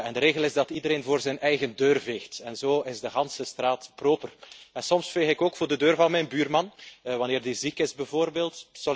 De regel is dat iedereen voor zijn eigen deur veegt. Zo is de hele straat proper. Soms veeg ik ook voor de deur van mijn buurman, wanneer die ziek is bijvoorbeeld.